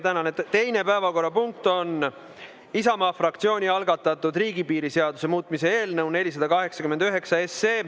Tänane teine päevakorrapunkt on Isamaa fraktsiooni algatatud riigipiiri seaduse muutmise eelnõu 489.